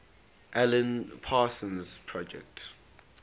alan parsons project